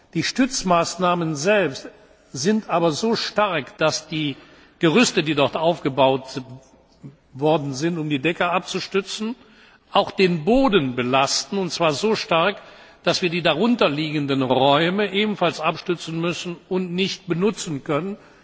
Die Stützmaßnahmen selbst sind aber so stark, dass die Gerüste, die dort aufgebaut worden sind, um die Decke abzustützen, auch den Boden belasten und zwar so stark, dass wir die darunterliegenden Räume ebenfalls abstützen müssen und nicht benutzen können.